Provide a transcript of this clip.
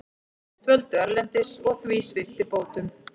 Dvöldu erlendis og því sviptir bótum